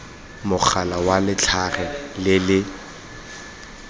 mogala wa letlhare le le